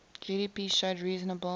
gdp showed reasonable